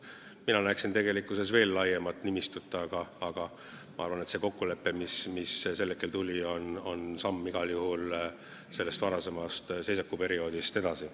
Mina näeksin veel laiemat nimistut, aga ma arvan, et see kokkulepe, mis sel hetkel saavutati, on igal juhul samm varasemast seisakuperioodist edasi.